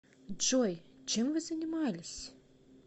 джой чем вы занимались